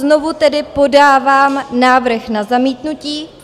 Znovu tedy podávám návrh na zamítnutí.